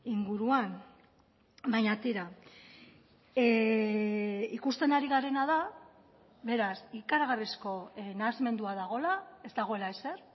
inguruan baina tira ikusten ari garena da beraz ikaragarrizko nahasmendua dagoela ez dagoela ezer